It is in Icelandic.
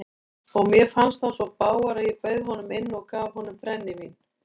Og mér fannst hann svo bágur að ég bauð honum inn og gaf honum brennivín.